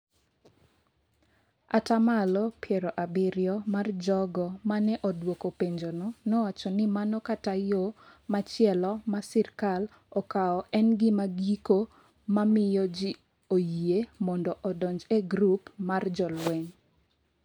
ata malo piero abirio mar jogo ma ne odwoko penjono nowacho ni mano kata yo machielo ma sirkal okawo en gima giko ma miyo ji oyie mondo odonj e grup mar jolweny.